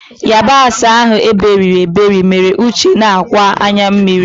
yabasị ahụ iberiri eberi mere uche na-akwa anya mmiri.